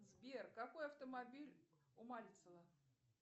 сбер какой автомобиль у мальцева